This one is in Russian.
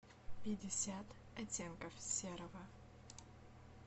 пятьдесят оттенков серого